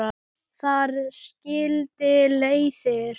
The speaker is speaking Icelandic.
Þar skildi leiðir.